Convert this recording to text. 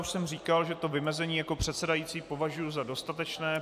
Už jsem říkal, že to vymezení jako předsedající považuji za dostatečné.